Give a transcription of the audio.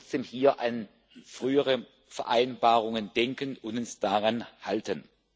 Wir sollten trotzdem hier an frühere Vereinbarungen denken und uns daran halten.